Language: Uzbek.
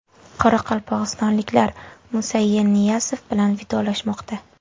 Qoraqalpog‘istonliklar Musa Yerniyazov bilan vidolashmoqda.